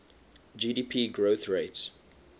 gdp growth rates